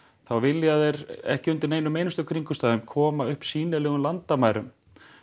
þá vilja þeir ekki undir neinum kringumstæðum koma upp sýnilegum landamærum